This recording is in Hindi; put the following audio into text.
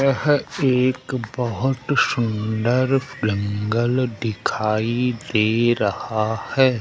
यह एक बहोत सुंदर जंगल दिखाई दे रहा है।